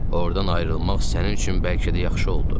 Ordan ayrılmaq sənin üçün bəlkə də yaxşı oldu.